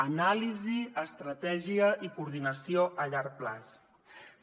anàlisi estratègia i coordinació a llarg termini